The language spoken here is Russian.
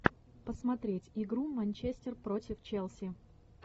посмотреть игру манчестер против челси